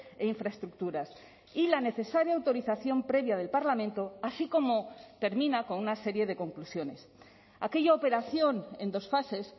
e infraestructuras y la necesaria autorización previa del parlamento así como termina con una serie de conclusiones aquella operación en dos fases